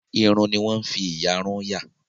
Iru ni wọ́n ń fi ìyàrun yà.